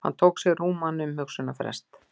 Hann tók sér rúman umhugsunarfrest.